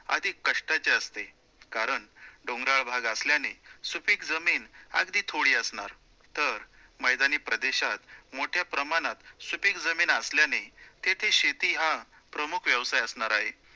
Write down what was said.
अधिक कष्टाचे असते, कारण डोंगराळ भाग असल्याने सुपीक जमीन अगदी थोडी असणार, तर मैदानी प्रदेशात मोठ्या प्रमाणात सुपीक जमीन असल्याने तेथे शेती हा प्रमुख व्यवसाय असणार आहे.